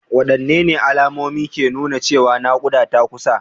Wadanne alamomi ne ke nuna cewa nakuda na kusa?